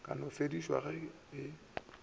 ka no fedišwa ge e